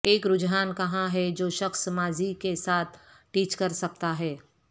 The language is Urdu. ایک رجحان کہاں ہے جو شخص ماضی کے ساتھ ٹچ کر سکتا ہے